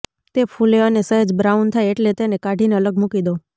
તે ફૂલે અને સહેજ બ્રાઉન થાય એટલે તેને કાઢીને અલગ મૂકી દો